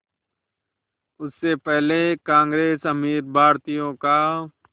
उससे पहले कांग्रेस अमीर भारतीयों का